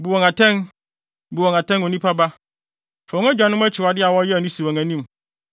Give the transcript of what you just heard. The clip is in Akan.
“Bu wɔn atɛn. Bu wɔn atɛn, onipa ba. Fa wɔn agyanom akyiwade a wɔyɛɛ no si wɔn anim